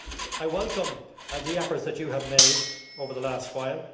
I welcome the efforts you have made over the last while